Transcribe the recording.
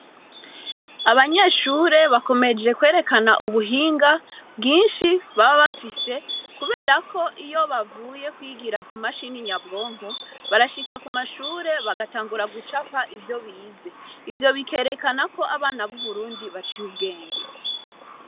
Abanyeshure bakomeje kwerekana ubuhinga bwinshi baba bafise, kubera ko iyo bavuye kwigira ku mashini nyabwonko, barashika ku mashure, bagatangura gucapa ivyo bize. Ivyo bikerekana ko abana b'Uburundi baciye ubwenge.